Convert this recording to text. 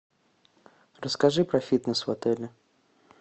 расскажи про фитнес в отеле